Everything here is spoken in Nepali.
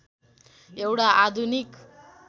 एउटा आधुनिक